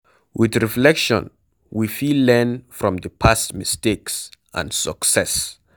With reflection we fit learn from di past mistakes and success